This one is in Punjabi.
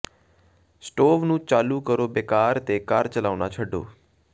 ਸਟੋਵ ਨੂੰ ਚਾਲੂ ਕਰੋ ਬੇਕਾਰ ਤੇ ਕਾਰ ਚਲਾਉਣਾ ਛੱਡੋ